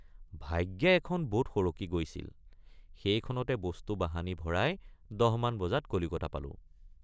ভাগ্যে এখন বোট সৰকি গৈছিল সেইখনতে বস্তুবাহানি ভৰাই ১০ মান বজাত কলিকতা পালোঁ।